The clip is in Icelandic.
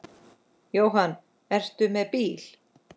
Jóhann: Ertu með bíl?